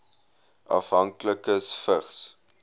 afhanklikes vigs